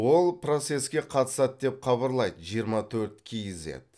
ол процеске қатысады деп хабарлайды жиырма төрт кизед